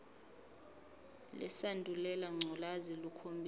lesandulela ngculazi lukhombisa